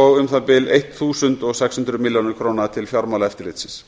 og um það bil sextán hundruð milljón krónur til fjármálaeftirlitsins